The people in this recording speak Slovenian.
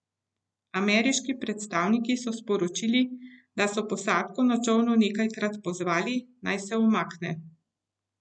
Ameriški predstavniki so sporočili, da so posadko na čolnu nekajkrat pozvali, naj se umakne.